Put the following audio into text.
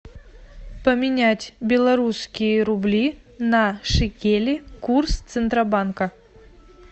поменять белорусские рубли на шекели курс центробанка